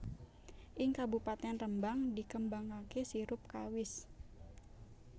Ing Kabupatèn Rembang dikembangaké sirup kawis